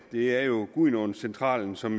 det er jo gudenaacentralen som